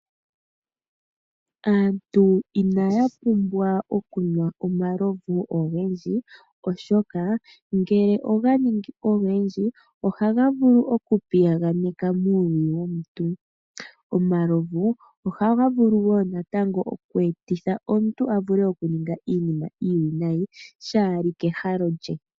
Aantu inaya pumbwa okunwa omalovu ogendji oshoka, ngele oga ningi ogendji molutu, ohaga vulu okupiyaganeka uuluyi womuntu. Omalovu ohaga vulu wo natango okweetitha omuntu a vule okuninga iinima iiwinayi, kashi li pahalo lye.